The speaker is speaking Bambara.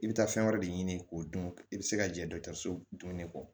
I bɛ taa fɛn wɛrɛ de ɲini k'o dun i bɛ se ka jɛ dɔ dun ne kɔ